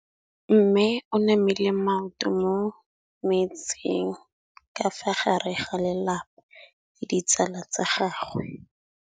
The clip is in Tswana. Mme o namile maoto mo mmetseng ka fa gare ga lelapa le ditsala tsa gagwe.